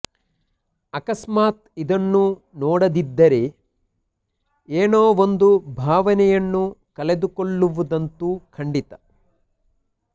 ಅಕಸ್ಮಾತ್ ಇದನ್ನು ನೋಡದಿದ್ದರೆ ಏನೋ ಒಂದು ಭಾವನೆಯನ್ನು ಕಳೆದುಕೊಳ್ಳುವುದಂತೂ ಖಂಡಿತ